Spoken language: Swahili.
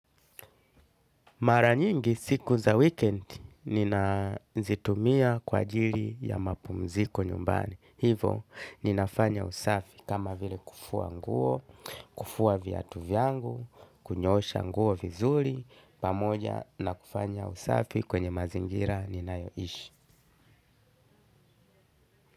Mara nyingi siku za wikendi ninazitumia kwa ajili ya mapumziko nyumbani. Hivo, ninafanya usafi kama vile kufua nguo, kufua viatu vyangu, kunyoosha nguo vizuri, pamoja na kufanya usafi kwenye mazingira ninayoishi.